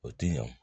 O ti ɲan